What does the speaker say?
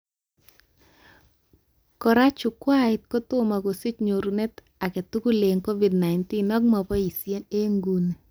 Kora, chukwait kotomo kosich nyorunet aketugul eng Covid-19 ak maboishee eng nguni